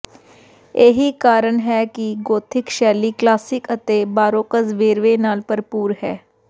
ਇਹੀ ਕਾਰਨ ਹੈ ਕਿ ਗੋਥਿਕ ਸ਼ੈਲੀ ਕਲਾਸਿਕ ਅਤੇ ਬਾਰੋਕਜ ਵੇਰਵੇ ਨਾਲ ਭਰਪੂਰ ਹੈ